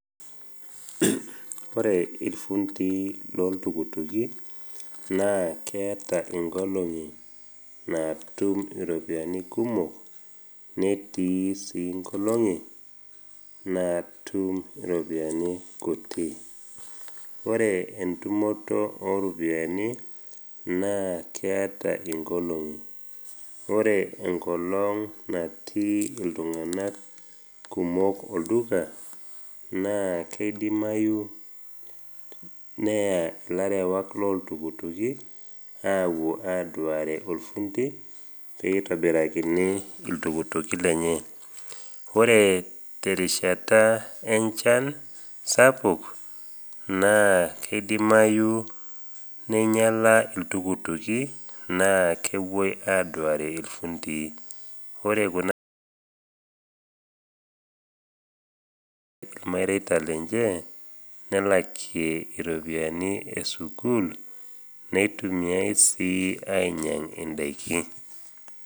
Ore ilfundii loltukutuki naa keata inkolong’i naatum iropiani kumok netii sii inkolong’I naatum iropiani kuti. Kore entumoto o ropiani naa keata inkoling’i, ore enkolong natii iltung’ana kumok olduka, naa keidimayu neya ilarewak loltukutuki awuo aduare olfundi peitobirakini iltukutuki lenye. Ore te rishata enchan sapuk, naa keidimayu neinyala iltukutuki naa kewuoi aduare ilfundii. Ore kuna pisai naatum kulo fundi, naa keret ilmareita lenche, nelakiekie iropiani esukuul , neitumiai sii ainyang indaiki.